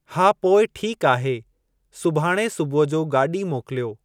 हा पोइ ठीक आहे सुभाणे सुबूह जो गाॾी मोकिलियो।